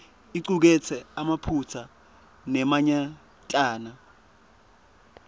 icuketse emaphutsa lamanyentana